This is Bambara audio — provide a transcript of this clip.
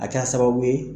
A kɛra sababu ye